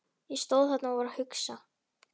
Ég stóð þarna og var að hugsa.